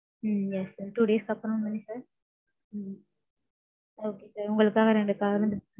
ம்ம் yes sir. Two days க்கு அப்பறம் தானே sir. ம்ம் okay sir உங்களுக்காக நாங்க ரெண்டு car